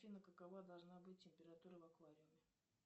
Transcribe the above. афина какова должна быть температура в аквариуме